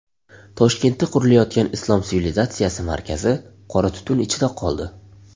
Toshkentda qurilayotgan Islom sivilizatsiyasi markazi qora tutun ichida qoldi.